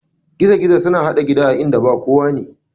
Gizo gizo suna haɗa gida a inda ba kowane.